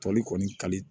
Tɔli kɔni kali